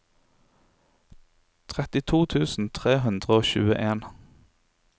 trettito tusen tre hundre og tjueen